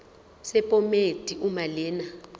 sephomedi uma lena